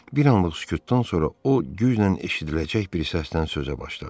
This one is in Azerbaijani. Bir anlıq sükutdan sonra o güclə eşidiləcək bir səsdən sözə başladı.